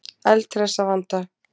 Eldhress að vanda.